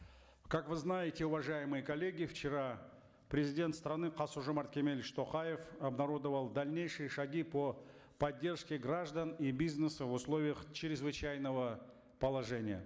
как вы знаете уважаемые коллеги вчера президент страны касым жомарт кемелевич токаев обнародовал дальнейшие шаги по поддержке граждан и бизнеса в условиях чрезвычайного положения